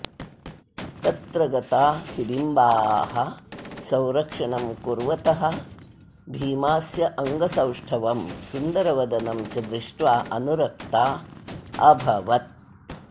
तत्र गता हिडिम्बाः संरक्षणं कुर्वतः भीमास्य अङ्गसौष्ठवं सुन्दरवदनं च दृष्ट्वा अनुरक्ता अभवत्